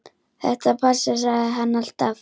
Þetta passar, sagði hann alltaf.